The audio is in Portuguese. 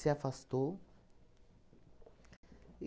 afastou.